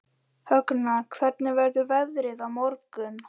Högna, hvernig verður veðrið á morgun?